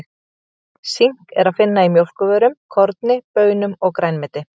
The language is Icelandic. Sink er að finna í mjólkurvörum, korni, baunum og grænmeti.